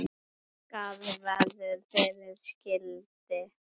Skarð verður fyrir skildi.